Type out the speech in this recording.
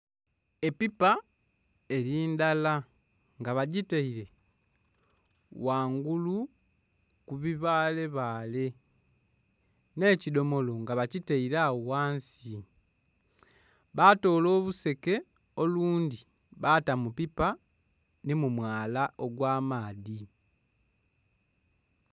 Epiipa eri ndala nga bagitaire ghangulu ku bibaale baale ne ekidhomolo nga bakitaire agho ghansi batoola oluseke olundhi baata mu piipa ni mu mwaala ogwa maadhi.